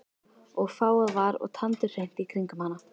Og fágað var og tandurhreint í kringum hana.